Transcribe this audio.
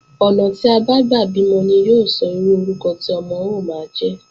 Ọ̀nà tí a bá gbà bímọ ni yóò sọ irú orúkọ tí ọmọ ó máa jẹ́